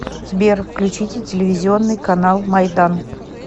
сбер включите телевизионный канал майдан